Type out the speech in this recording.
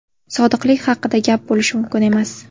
Sodiqlik haqida gap bo‘lishi mumkin emas!